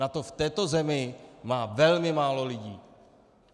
Na to v této zemi má velmi málo lidí!